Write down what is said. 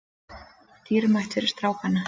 Dýrmætt fyrir strákana